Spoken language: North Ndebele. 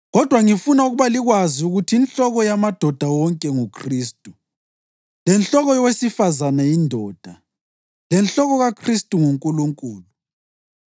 Kodwa ngifuna ukuba likwazi ukuthi inhloko yamadoda wonke nguKhristu, lenhloko yowesifazane yindoda, lenhloko kaKhristu nguNkulunkulu.